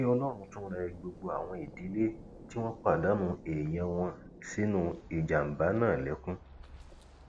kí ọlọrun tún rẹ gbogbo àwọn ìdílé tí wọn pàdánù èèyàn wọn sínú ìjàmbá náà lẹkún